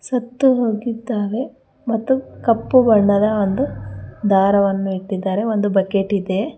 ಸತ್ತು ಹೋಗಿದ್ದಾವೆ ಮತ್ತು ಕಪ್ಪು ಬಣ್ಣದ ಒಂದು ದಾರವನ್ನು ಇಟ್ಟಿದ್ದಾರೆ ಒಂದು ಬಕೆಟ್ ಇದೆ.